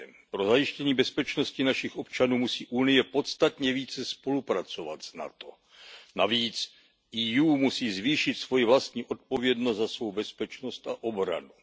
Pro zajištění bezpečnosti našich občanů musí Unie podstatně více spolupracovat s NATO. Navíc EU musí zvýšit svoji vlastní odpovědnost za svou bezpečnost a obranu.